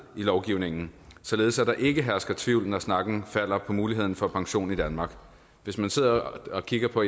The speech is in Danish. i lovgivningen således at der ikke hersker tvivl når snakken falder på muligheden for pension i danmark hvis man sidder og kigger på